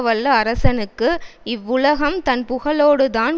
வல்ல அரசனுக்கு இவ்வுலகம் தன் புகழோடு தான்